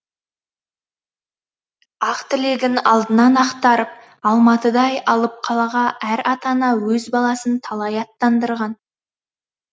ақ тілегін алдынан ақтарып алматыдай алып қалаға әр ата ана өз баласын талай аттандырған